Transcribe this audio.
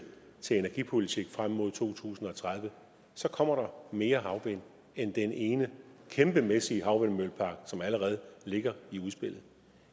til energipolitik frem mod to tusind og tredive kommer mere havvind end den ene kæmpemæssige havvindmøllepark som allerede ligger i udspillet